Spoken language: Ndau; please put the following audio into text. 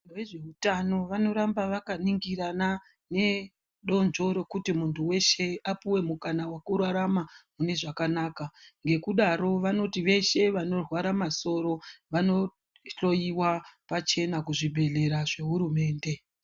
Vezveutano vanoramba vakaningirana nedonzvo rekuti muntu weshe apuwe mukana wekurarama mune zvakanaka. Ngekudaro vanoti veshe vanorwara masoro vanohloyiwa pachena kuzvibhedhlera zvehurumende.